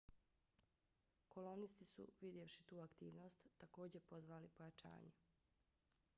kolonisti su vidjevši tu aktivnost takođe pozvali pojačanje